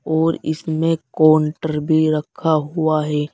और इसमें काउंटर भी रखा हुआ है।